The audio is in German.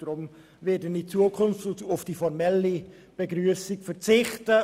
Ich werde aus Spargründen auf die formelle Begrüssung verzichten.